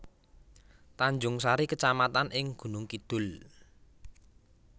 Tanjungsari kecamatan ing Gunung Kidul